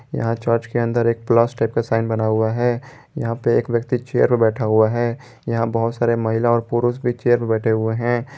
यहां चर्च के अंदर एक प्लस टाइप का साइन बना हुआ है यहां पे एक व्यक्ति चेयर पर बैठा हुआ है यहां बहुत सारे महिला और पुरुष भी चेयर बैठे हुए हैं।